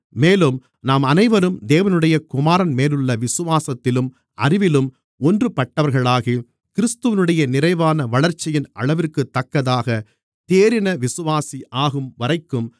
மேலும் நாம் அனைவரும் தேவனுடைய குமாரன்மேலுள்ள விசுவாசத்திலும் அறிவிலும் ஒன்றுபட்டவர்களாகி கிறிஸ்துவினுடைய நிறைவான வளர்ச்சியின் அளவிற்குத்தக்கதாக தேறின விசுவாசியாகும் வரைக்கும்